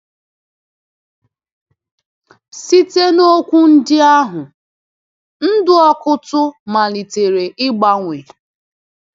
Site n’okwu ndị ahụ, ndụ Ọkụ́tụ̀ malitere ịgbanwe.